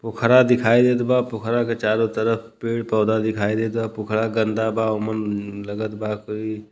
पोखरा दिखाई देता। पोखरा के चारो तरफ पेड़ पौधा दिखाई देता। पोखरा गन्दा बा। मम लगत बा कोई --